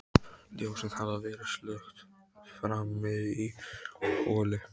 Ljósin hafa verið slökkt frammi í holi.